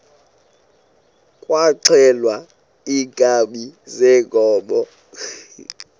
kwaxhelwa iinkabi zeenkomo